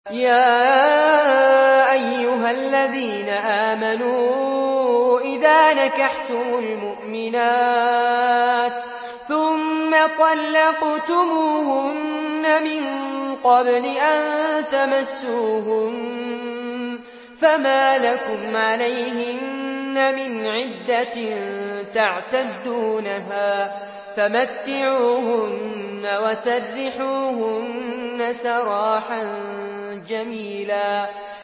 يَا أَيُّهَا الَّذِينَ آمَنُوا إِذَا نَكَحْتُمُ الْمُؤْمِنَاتِ ثُمَّ طَلَّقْتُمُوهُنَّ مِن قَبْلِ أَن تَمَسُّوهُنَّ فَمَا لَكُمْ عَلَيْهِنَّ مِنْ عِدَّةٍ تَعْتَدُّونَهَا ۖ فَمَتِّعُوهُنَّ وَسَرِّحُوهُنَّ سَرَاحًا جَمِيلًا